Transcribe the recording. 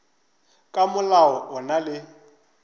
ka molao o na le